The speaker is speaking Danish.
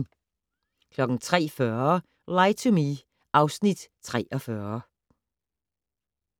03:40: Lie to Me (Afs. 43)